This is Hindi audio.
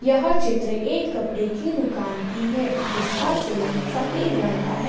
यह चित्र एक कपड़े की दुकान की है जिसका सेलिंग सफेद रंग का है।